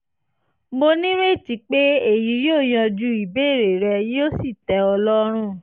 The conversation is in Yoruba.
mo nírètí pé èyí yóò yanjú ìbéèrè rẹ yóò sì tẹ́ ọ lọ́rùn